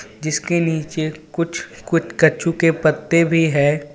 जिसके नीचे कुछ कुट कछु के पत्ते भी है.